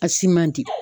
A si man di